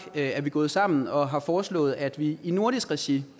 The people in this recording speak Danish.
er vi gået sammen og har foreslået at vi i nordisk regi